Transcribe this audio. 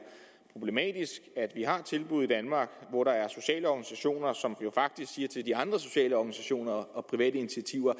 problematisk at vi har tilbud i danmark hvor der er sociale organisationer som jo faktisk siger til de andre sociale organisationer og private initiativer